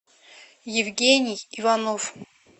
евгений иванов